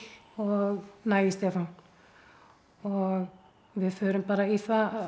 og næ í Stefán og við förum bara í það